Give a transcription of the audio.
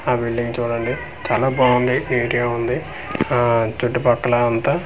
ఆ బిల్డింగ్ చూడండి చాలా బావుంది నీట్ గా ఉంది ఆహ్ చుట్టు పక్కల అంతా--